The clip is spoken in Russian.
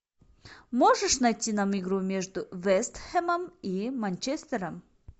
можешь найти нам игру между вест хэмом и манчестером